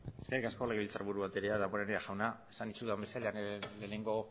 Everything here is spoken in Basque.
eskerrik asko legebiltzarburu andrea damborenea jauna esan dizudan bezala lehenengo